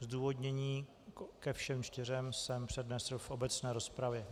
Zdůvodnění ke všem čtyřem jsem přednesl v obecné rozpravě.